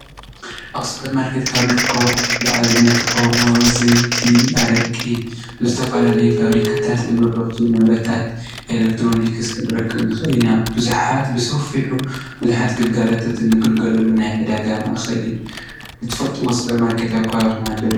አብ ሱፐር ማርኬት ካብ ዝርከቡ እቁሑት ንአብነት አሞ፣ ዘይቲ፣ አረቂ፣ ዝተፈላለዩ ፋብሪካታት ዝምረቱ ንብረታት ኤለክትሮኒክስ ክንረክብ ንክእል ኢና ። ብዙሓት ብሰፊሑ ብዙሓት ግልጋሎታት ንግልገለሉ ናይ ዕደጋ ማእከል እዩ። እትፈልጥዎም ሱፐር ማርኬት አብ ከባቢኩም አለው ዶ?